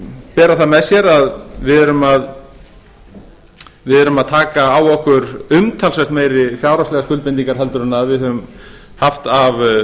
bera það með sér að við erum að taka á okkur umtalsvert meiri fjárhagslegar skuldbindingar en við höfum haft af